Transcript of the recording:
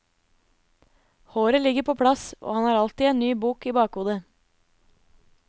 Håret ligger på plass, og han har alltid en ny bok i bakhodet.